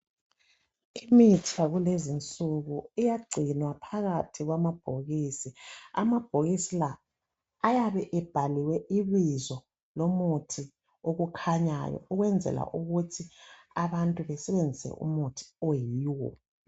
Imithi yakulezinsuku iyagcinwa phakathi kwamabhokisi, amabhokisi la ayabe ebhaliwe ibizo lomuthi okukhanyayo. Ukwenzela ukuthi abantu besebenzise umuthi oyiwo.